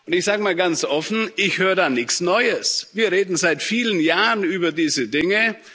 Ich sage mal ganz offen Ich höre da nichts Neues. Wir reden seit vielen Jahren über diese Dinge.